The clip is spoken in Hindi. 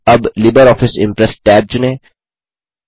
अब लिब्रियोफिस इम्प्रेस टैब चुनें